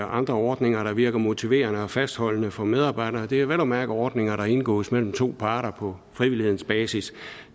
andre ordninger der virker motiverende og fastholdende for medarbejdere og det er vel at mærke ordninger der indgås mellem to parter på frivillighedens basis